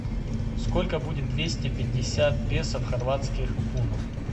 сколько будет двести пятьдесят песо в хорватских кунах